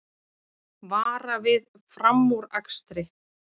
Vara við framúrakstri